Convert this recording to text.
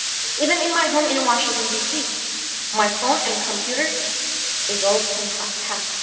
Even in my home in Washington DC, my phone and computer are often hacked.